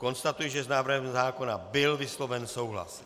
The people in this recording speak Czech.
Konstatuji, že s návrhem zákona byl vysloven souhlas.